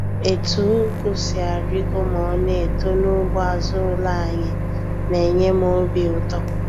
Etu Ụgụ si arigo ma ọ na-eto n'ugbo azụ ụlọ anyị na-enye m obi ụtọ.